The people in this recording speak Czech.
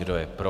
Kdo je pro?